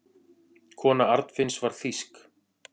Kona Arnfinns var þýsk.